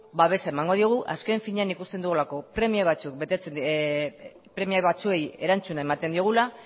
babesa emango diogu azken finean ikusten dugulako premia batzuei erantzuna ematen diogula